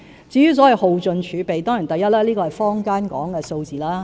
至於所謂耗盡儲備，首先，這是坊間所說的數字。